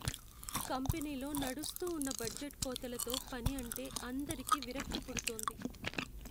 కంపెనీలో నడుస్తూ ఉన్న బడ్జెట్ కోతలతో పని అంటే అందరికీ విరక్తి పుడుతోంది.